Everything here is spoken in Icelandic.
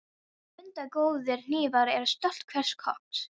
Mundu að góðir hnífar eru stolt hvers kokks.